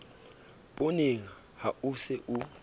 pooneng ha o se o